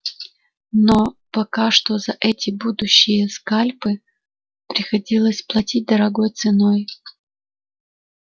но пока что за эти будущие скальпы приходилось платить дорогой ценой